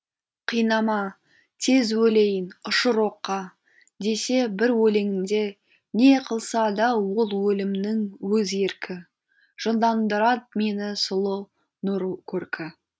қинама тез өлейін ұшыр оққа десе бір өлеңінде не қылса да ол өлімнің өз еркі жындандырат мені сұлу нұр көркі